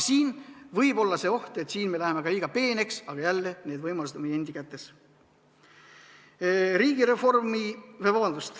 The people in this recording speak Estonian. Siin võib olla see oht, et me läheme käsitlusega ka liiga peeneks, aga jälle, need võimalused on meie endi kätes.